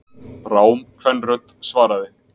Rám kvenrödd svaraði.